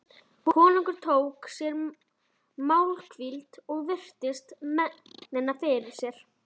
Konungur tók sér málhvíld og virti mennina fyrir sér.